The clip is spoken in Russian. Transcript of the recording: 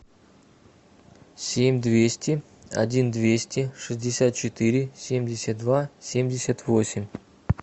семь двести один двести шестьдесят четыре семьдесят два семьдесят восемь